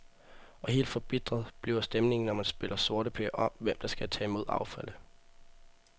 Og helt forbitret bliver stemningen, når man spiller sorteper om, hvem der skal tage mod affaldet.